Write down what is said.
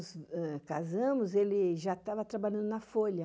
casamos, ele já estava trabalhando na Folha.